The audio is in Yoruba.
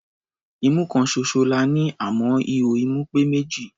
Imú kan ṣoṣo la ní, àmọ́ ihò imú pé méjì.